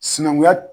Sinankunya